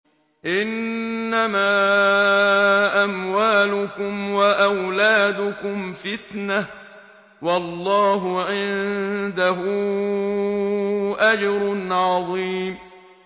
إِنَّمَا أَمْوَالُكُمْ وَأَوْلَادُكُمْ فِتْنَةٌ ۚ وَاللَّهُ عِندَهُ أَجْرٌ عَظِيمٌ